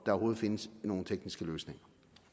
overhovedet findes nogle tekniske løsninger